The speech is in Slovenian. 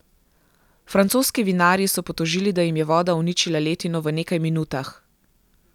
Francoski vinarji so potožili, da jim je voda uničila letino v nekaj minutah.